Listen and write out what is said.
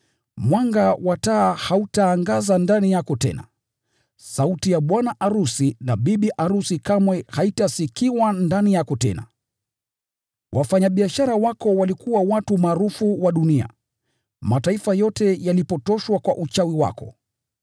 Mwanga wa taa hautaangaza ndani yako tena. Sauti ya bwana arusi na bibi arusi kamwe haitasikika ndani yako tena. Wafanyabiashara wako walikuwa watu maarufu wa dunia. Mataifa yote yalipotoshwa kwa uchawi wako.